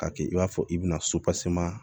K'a kɛ i b'a fɔ i bɛna